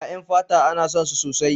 Ƴaƴan fata ana son su sosai.